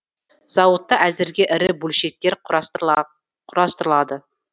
зауытта әзірге ірі бөлшектер құрастырылады